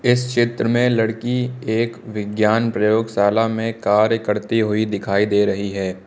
इस चित्र में लड़की एक विज्ञान प्रयोगशाला में कार्य करती हुई दिखाई दे रही है।